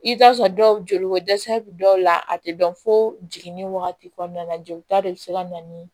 I bɛ t'a sɔrɔ dɔw joli ko dɛsɛ bi dɔw la a te dɔn fo jiginn'i wagati kɔɔna la jolita de be se ka na ni